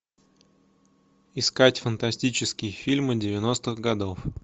искать фантастические фильмы девяностых годов